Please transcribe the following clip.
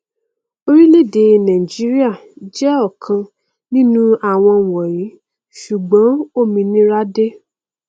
orílẹèdè nàìjíríà jẹ ọkan nínú àwọn wọnyí ṣùgbọn òmìnira dé